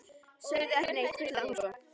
Segðu ekki neitt, hvíslaði hún svo.